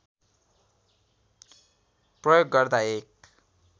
प्रयोग गर्दा एक